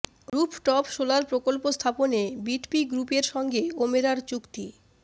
rooftop solar প্রকল্প স্থাপনে বিটপি গ্রুপের সঙ্গে ওমেরার চুক্তি